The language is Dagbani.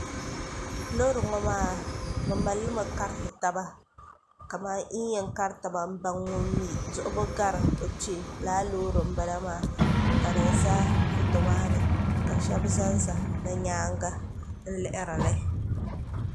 loori ŋo maa bi mallimi kariti taba kamani yi ni yɛn kari taba n baŋ ŋun mi duɣubu gari o kpee lala loori n bala maa ka di ʒɛ foto maa ni ka shab ʒɛnʒɛ di nyaanga n lihirili